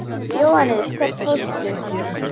Jóhannes: Hvert fórstu?